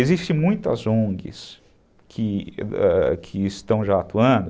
Existem muitas ongues que estão já atuando,